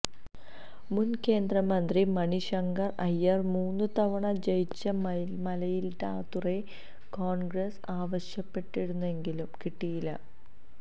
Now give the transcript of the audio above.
മുൻ കേന്ദ്രമന്ത്രി മണിശങ്കർ അയ്യർ മൂന്നു തവണ ജയിച്ച മയിലാടുതുറൈ കോൺഗ്രസ് ആവശ്യപ്പെട്ടിരുന്നെങ്കിലും കിട്ടിയില്ല